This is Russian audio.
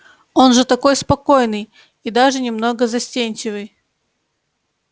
он же такой спокойный и даже немного застенчивый